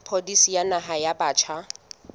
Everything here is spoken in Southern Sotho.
pholisi ya naha ya batjha